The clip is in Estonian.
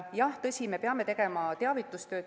Jah, tõsi, me peame tegema teavitustööd.